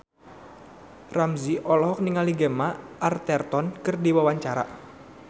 Ramzy olohok ningali Gemma Arterton keur diwawancara